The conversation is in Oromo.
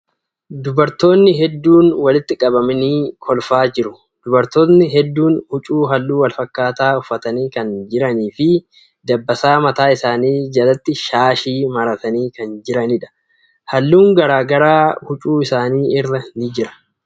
Dubartootni hedduun walitti qabamanii kolfaa jiru. Dubartootni hedduun huccuu halluu wal fakkaataa uffatanii kan jiranii fi dabbasaa mataa isaanii jalatti shaashii maratanii kan jiraniidha. Halluun garagaraa huccuu isaanii irra ni jira.